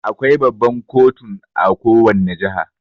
Akwai Baban kotun a kowanne jiha.